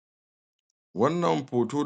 to wannan hoto da ake ia gani ana iya ganin cewa wani manomi yana ban ruwa kuma wannan alama nau'in wa ni tsiro ne mai ya yuwi la'alla ko wake soya ko kuma ya zamana dankali ko wani al amari dai da ake iya to al ayyi halin halin dai shi wannan manomi yan ban ruwa ne o abinda yake iya nunawa gahi nan katafariyar gona yana kokarin ban ruwa domin a gud tare a tsira tare daga lokacin da ka bar ba ruwa daga lokaci zaka dawo kaga gurin ya zama kanda so a karkashin wannan ne yake kokarin ya jika gonan da ruwa ya zama ko ina ya samu cikin ya samu wadacaccen ruwa da ni'ima da walwala yanda abubuwan da aka shuka zasu ratsa kasa su shiga yanda suke so a samu amfani mai kyau domin daga lokaci da kayi tunanin cewa zaka sa yau ka bari sai gobe jibi kasa to irin wannan ya na daya daga cikin abunda yake tauye amfanin amma in suna samun ruwa a lokutan da suke bukata safe da maraice to yawancin wa'yan nan amfanin gona zaka gan su cikin walwala da ni'ima zaka je ka tarar da su sunyi kyan gani sunyi kore sunyi gona idan kuma ka sa tunanin cewa kila ruwan dake ciki zai iya isar da su to wani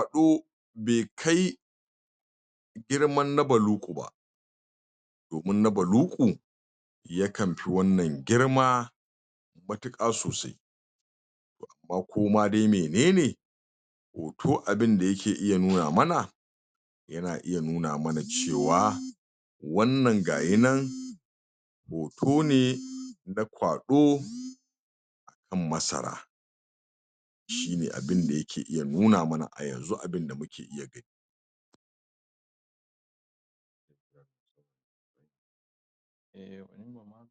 lokaci akan samu akasi shiyasa ma ake san a samusu ruwa daidai da bukatun su tun da ba ruwan sama ke sauka ba idan ka tashi sa ruwan zaka sa ne har ya zamana lokacin da za'a kara sa wani to wannan ruwan yana nan a jikin su ba tare da zuke ya dauke ba to babban bukata dai al muhim abunda ake so shinne ya zamana kullun gurin yana jike walwala da ni'ima da danshi domin idan ba wannan walwala da ni'ima da danshi din to amfanin gonan da kake tunanin sam bazaka same shi ba to shine amfanin ban ruwan a kai a kai ba dare ba rana dan kullun gurin ya zama cikin ni'ima da yalwa da sanyi da dausayi shine wannan